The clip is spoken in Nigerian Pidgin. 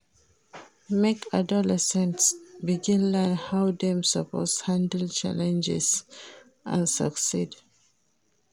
Make adolescents begin learn how dem suppose handle challenges and succeed.